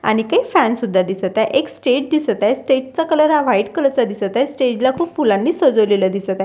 आणि काही फॅन सुद्धा दिसत आहे एक स्टेज दिसत आहे स्टेज चा कलर हा व्हाईट कलर चा दिसत आहे स्टेज ला खूप फुलांनी सजवलेलं दिसत आहे.